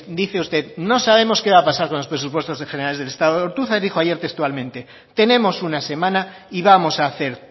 dice usted no sabemos qué va a pasar con los presupuestos generales del estado ortuzar ayer dijo textualmente tenemos una semana y vamos a hacer